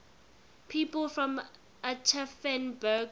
people from aschaffenburg